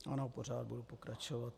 Ano, pořád budu pokračovat.